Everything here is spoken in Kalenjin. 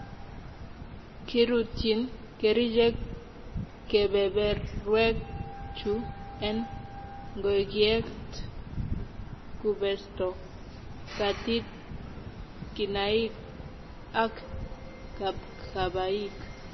kirutyin kerichek kebeberwek chu en ngokiet. kubeesto, kaatit, kinaik, ak kapkabaik.